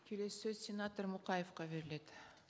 келесі сөз сенатор мұқаевқа беріледі